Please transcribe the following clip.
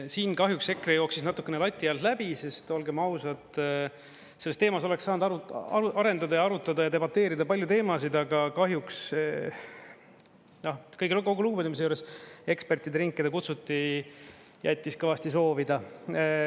Siin kahjuks EKRE jooksis natukene lati alt läbi, sest olgem ausad, selles teemas oleks saanud arendada ja arutada ja debateerida palju teemasid, aga kahjuks, kogu lugupidamise juures, ekspertide ring, keda kutsuti, jättis kõvasti soovida.